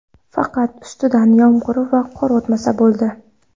Faqat ustidan yomg‘ir va qor o‘tmasa bo‘ldi.